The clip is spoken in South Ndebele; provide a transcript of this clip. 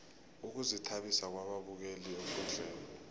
ukuzithabisa kwababukeli ekundleni